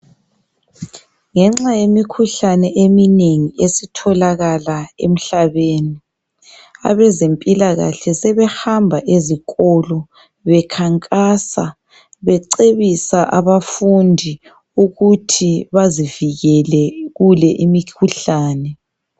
Ngenxa yemikhuhlane eminengi esitholakala emhlabeni. Abezempilakahle sebehamba ezikolo, bekhankasa becebisa abafundi ukuthi bazivikele kule imikhuhlane.